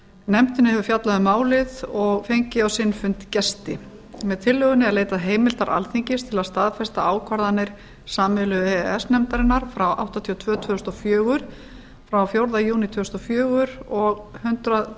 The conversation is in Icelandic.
nefndin hefur fjallað um málið og fengið á sinn fund gesti með tillögunni er leitað heimildar alþingis til að staðfesta ákvarðanir sameiginlegu e e s nefndarinnar númer áttatíu og tvö tvö þúsund og fjögur frá fjórða júní tvö þúsund og fjögur og hundrað